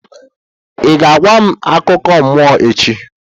Ị ga-agwa m akụkọ mmụọ echi?